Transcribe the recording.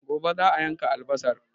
Gobe za'a yanka albasar